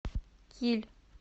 киль